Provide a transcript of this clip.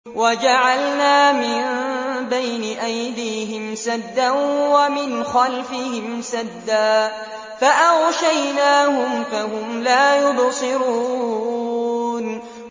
وَجَعَلْنَا مِن بَيْنِ أَيْدِيهِمْ سَدًّا وَمِنْ خَلْفِهِمْ سَدًّا فَأَغْشَيْنَاهُمْ فَهُمْ لَا يُبْصِرُونَ